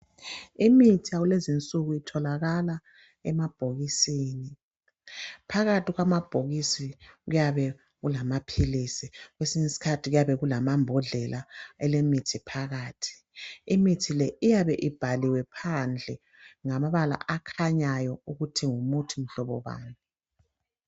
Imithi yakulezi nsuku itholakala emabhokisini . Phakathi kwamabhokisi kuyabe kulamaphilisi kwesinye isikhathi kuyabe kulamambodlela ale mithi phakathi . Imithi le iyabe ibhaliwe phandle ngamabala akhanyayo ukuthi ngumuthi mhlobo bani.